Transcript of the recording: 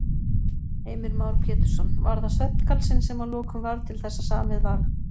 Heimir Már Pétursson: Var það svefngalsinn sem að lokum varð til þess að samið var?